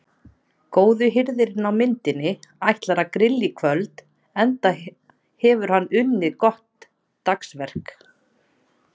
Góði hirðirinn á myndinni ætlar að grilla í kvöld enda hefur hann unnið gott dagsverk.